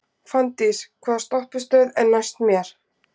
Fanndís, hvaða stoppistöð er næst mér?